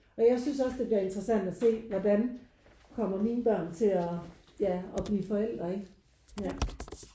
Og jeg synes også det bliver interessant at se hvordan kommer mine børn til at ja at blive forældre ikke? Ja